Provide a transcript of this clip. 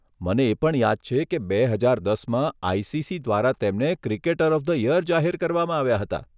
મને એ પણ યાદ છે કે બે હજાર દસમાં આઇસીસી દ્વારા તેમને 'ક્રિકેટર ઓફ ધ યર "જાહેર કરવામાં આવ્યા હતા.